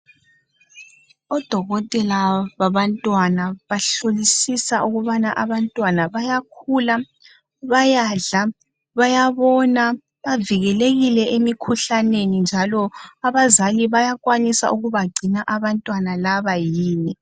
Odokotela baba ntwana bahlolisisa ukubana abantwana bayakhula, bayadla, bayabona bavikelikile emikhuhlaneni njalo abazali bayakwanisa ukuba gcina abantwana laba yini.